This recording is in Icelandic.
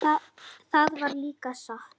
Það var líka satt.